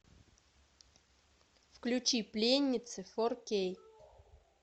включи пленницы фор кей